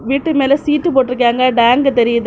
வீட்டு மேல சீட்டு போட்டு இருக்காங்க டேங்க் தெரியுது.